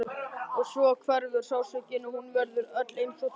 Og svo hverfur sársaukinn og hún verður öll einsog dofin.